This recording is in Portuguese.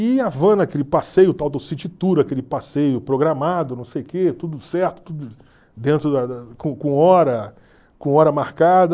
E em Havana, aquele passeio tal do City Tour, aquele passeio programado, não sei o quê, tudo certo, tudo dentro da da com com hora com hora marcada.